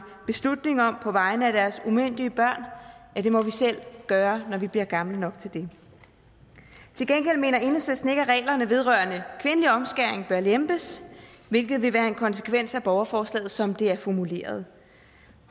beslutning om på vegne af deres umyndige børn det må vi selv gøre når vi bliver gamle nok til det til gengæld mener enhedslisten ikke at reglerne vedrørende kvindelig omskæring bør lempes hvilket vil være en konsekvens af borgerforslaget som det er formuleret